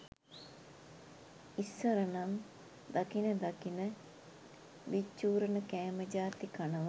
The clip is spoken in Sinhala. ඉස්සරනම් දකින දකින විච්චූරණ කෑම ජාති කනවා